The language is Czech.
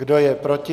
Kdo je proti?